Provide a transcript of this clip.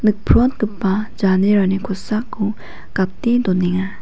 nikprotgipa janerani kosako gate donenga.